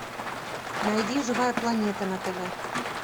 найди живая планета на тв